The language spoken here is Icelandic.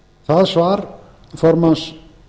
það svar formanns